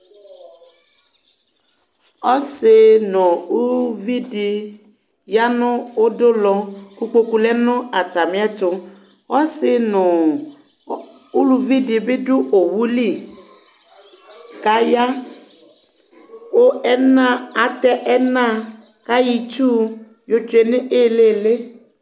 Ɔsɩ nʋ uvi di ya nʋ udunulɔ kʋ kpoku lɛ nʋ atami ɛtʋ Ɔsɩ nʋ uluvi di bɩ adu owu li, kʋ aya, kʋ atɛ ɛna, kʋ ayɔ itsu yotsʋe nʋ ilili